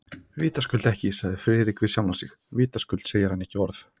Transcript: Vitaskuld ekki, sagði Friðrik við sjálfan sig, vitaskuld segir hann ekki orð.